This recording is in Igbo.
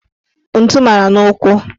Ntu mara n' ụkwụ.